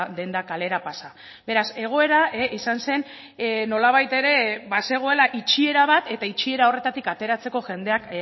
denda kalera pasa beraz egoera izan zen nolabait ere bazegoela itxiera bat eta itxiera horretatik ateratzeko jendeak